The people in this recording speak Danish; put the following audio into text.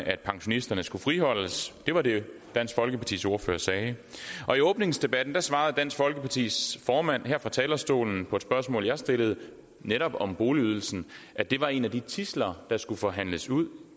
at pensionisterne skal friholdes det var det dansk folkepartis ordfører sagde og i åbningsdebatten svarede dansk folkepartis formand her fra talerstolen på et spørgsmål jeg stillede netop om boligydelsen at det var en af de tidsler der skulle forhandles ud